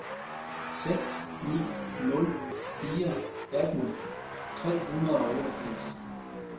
seks ni nul fire atten tre hundrede og otteogfirs